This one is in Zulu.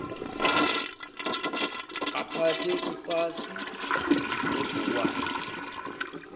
baphathe ipasi nebhukwana